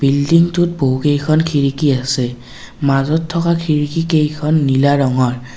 Building টোত বহুতকেইখন খিৰিকী আছে মাজত থকা খিৰিকী কেইখন নীলা ৰঙৰ।